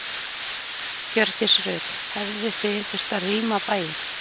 Hjördís Rut: Hefðuð þið þurft að rýma bæinn?